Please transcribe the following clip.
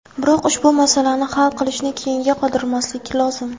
Biroq ushbu masalani hal qilishni keyinga qoldirmaslik lozim.